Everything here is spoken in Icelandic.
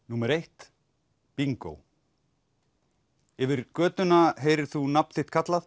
númer eitt bingó yfir götuna heyrir þú nafn þitt kallað